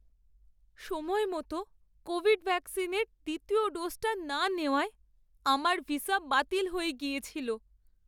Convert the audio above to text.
সময়মতো কোভিড ভ্যাকসিনের দ্বিতীয় ডোজটা না নেওয়ায় আমার ভিসা বাতিল হয়ে গিয়েছিল।